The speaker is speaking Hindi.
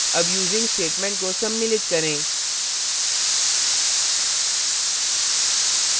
अब using statement को सम्मिलित करें